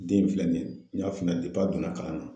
Den filɛ in nin ye n y'a f'i ɲɛna a donna kalan na